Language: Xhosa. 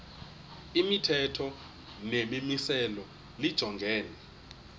imithetho nemimiselo lijongene